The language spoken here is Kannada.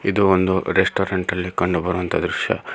ಇದು ಒಂದು ರೆಸ್ಟೋರೆಂಟಲ್ಲಿ ಕಂಡುಬರುವಂತಹ ದೃಶ್ಯ.